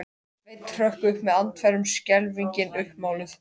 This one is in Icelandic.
Sveinn hrökk upp með andfælum, skelfingin uppmáluð.